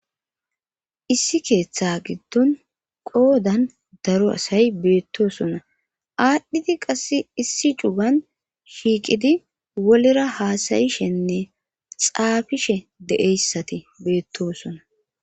issi keeththa giddon qoodan daro asay beettosona aadhdhiti qass issi cugan shiiqidi wolera haasayishenne xaafishe de7eyssati beettosona